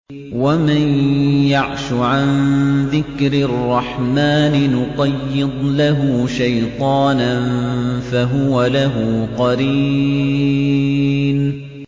وَمَن يَعْشُ عَن ذِكْرِ الرَّحْمَٰنِ نُقَيِّضْ لَهُ شَيْطَانًا فَهُوَ لَهُ قَرِينٌ